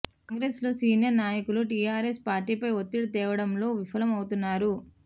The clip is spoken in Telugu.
కాంగ్రెస్ లో సీనియర్ నాయకులు టీఆరెస్ పార్టీపై ఒత్తిడి తేవడంలో విఫలం అవుతున్నారు